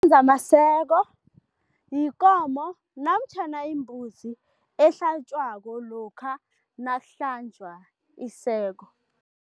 yikomo namtjhana imbuzi ehlatjwako lokha nakuhlanjwa iseko.